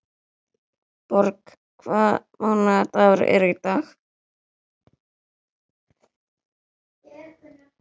Borg, hvaða mánaðardagur er í dag?